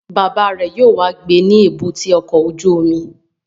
Bàbá rẹ̀ yóò wá gbé ní èbúté ọkọ̀ ojú omi